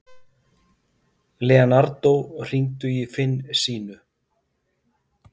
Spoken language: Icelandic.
Leonardo, hringdu í Finnsínu.